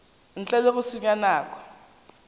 ntle le go senya nako